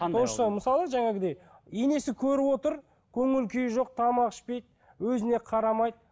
то же самое мысалы жаңағыдай енесі көріп отыр көңіл күйі жоқ тамақ ішпейді өзіне қарамайды